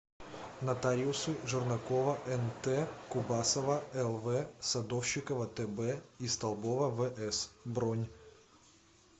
нотариусы жернакова нт кубасова лв садовщикова тб и столбова вс бронь